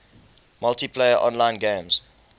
multiplayer online games